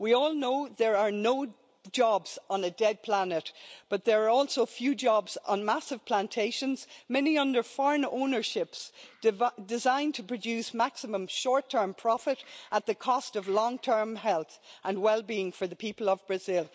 We all know there are no jobs on a dead planet, but there are also few jobs on massive plantations, many under foreign ownership, designed to produce maximum short-term profit at the cost of the long-term health and well-being for the people of Brazil.